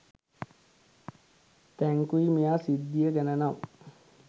thank you මෙයා සිද්දිය ගැන නම්